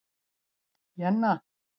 Jenna